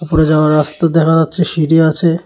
ওপরে যাওয়ার রাস্তা দেখা যাচ্ছে সিঁড়ি আছে।